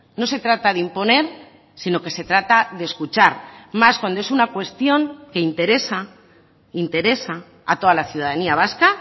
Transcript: no se trata de imponer sino que se trata de escuchar más cuando es una cuestión que interesa interesa a toda la ciudadanía vasca